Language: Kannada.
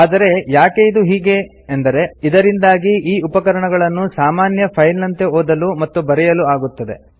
ಆದರೆ ಯಾಕೆ ಇದು ಹೀಗೆ ಎಂದರೆ ಇದರಿಂದಾಗಿ ಈ ಉಪಕರಣಗಳನ್ನು ಸಾಮಾನ್ಯ ಫೈಲ್ ನಂತೆ ಓದಲು ಮತ್ತು ಬರೆಯಲು ಆಗುತ್ತದೆ